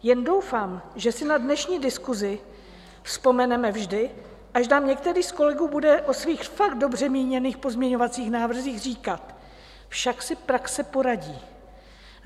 Jen doufám, že si na dnešní diskusi vzpomeneme vždy, až nám některý z kolegů bude o svých fakt dobře míněných pozměňovacích návrzích říkat: Však si praxe poradí.